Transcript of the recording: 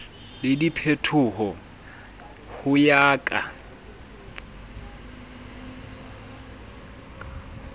le diphetoho ho ya ka